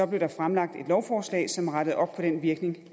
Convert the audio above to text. blev der fremsat et lovforslag som rettede op på den virkning